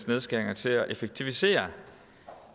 nedskæringer til at effektivisere